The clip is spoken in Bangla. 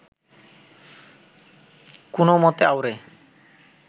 কোনওমতে আউড়ে